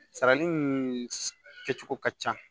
Sarali kɛcogo ka ca